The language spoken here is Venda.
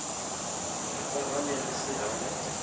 ri farane ri si hangwe